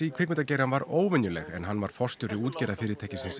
í kvikmyndagerðinni var óvenjuleg en hann var forstjóri